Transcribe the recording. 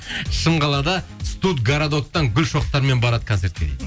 шымқалада студгородоктан гүл шоқтарымен барады концертке дейді